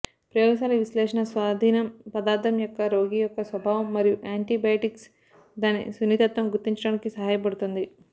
ప్రయోగశాల విశ్లేషణ స్వాధీనం పదార్థం యొక్క రోగ యొక్క స్వభావం మరియు యాంటీబయాటిక్స్ దాని సున్నితత్వం గుర్తించడానికి సహాయపడుతుంది